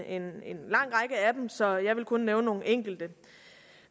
en lang række af dem så jeg vil kun nævne nogle enkelte